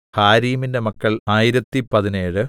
ഹാരീമിന്റെ മക്കൾ ആയിരത്തിപ്പതിനേഴ്